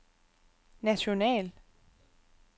national